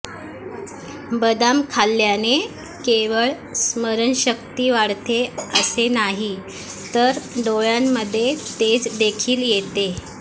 बदाम खाल्ल्याने केवळ स्नरणशक्ती वाढते असे नाही तर डोळ्यांमध्ये तेज देखील येते